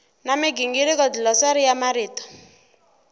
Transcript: na migingiriko dlilosari ya marito